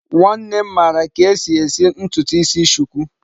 Nwannem mara ka esi esi ntutu isi shuku